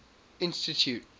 institute